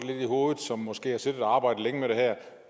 som måske har siddet og arbejdet længe med det her